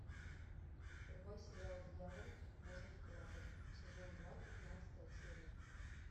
врубай сериал дьявол может плакать сезон два пятнадцатая серия